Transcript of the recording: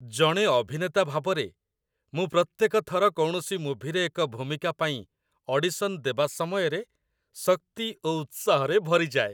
ଜଣେ ଅଭିନେତା ଭାବରେ, ମୁଁ ପ୍ରତ୍ୟେକ ଥର କୌଣସି ମୁଭିରେ ଏକ ଭୂମିକା ପାଇଁ ଅଡିସନ୍ ଦେବା ସମୟରେ ଶକ୍ତି ଓ ଉତ୍ସାହରେ ଭରିଯାଏ।